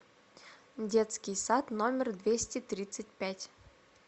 детский сад номер двести тридцать пять